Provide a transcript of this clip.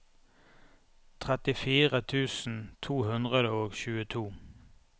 trettifire tusen to hundre og tjueto